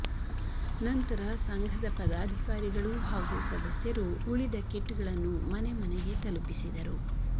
ನಂತರ ಸಂಘದ ಪದಾಧಿಕಾರಿಗಳು ಹಾಗು ಸದಸ್ಯರು ಉಳಿದ ಕಿಟ್ ಗಳನ್ನು ಮನೆ ಮನೆಗೆ ತಲುಪಿಸಿದರು